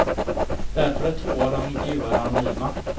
Därför är två av de intervjuade anonyma.